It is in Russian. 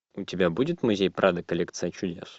у тебя будет музей прадо коллекция чудес